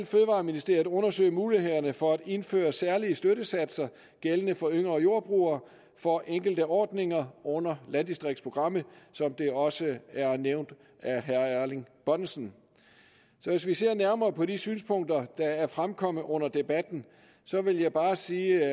fødevareministeriet undersøge mulighederne for at indføre særlige støttesatser gældende for yngre jordbrugere for enkelte ordninger under landdistriktsprogrammet som det også er nævnt af herre erling bonnesen hvis vi ser nærmere på de synspunkter der er fremkommet under debatten vil jeg bare sige